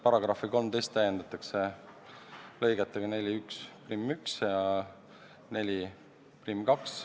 § 13 täiendatakse lõigetega 41 ja 42.